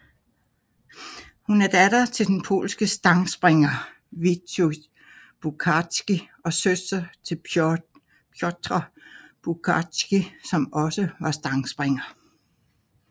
Hun er datter til den polske stangspringer Wojciech Buciarski og søster til Piotr Buciarski som også var stangspringer